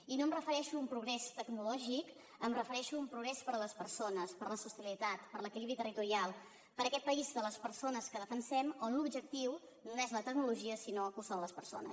i no em refereixo un progrés tecnològic em refereixo a un progrés per a les persones per a la sostenibilitat per a l’equilibri territorial per a aquest país de les persones que defensem on l’objectiu no és la tecnologia sinó que ho són les persones